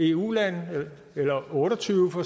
eu lande eller otte og tyve for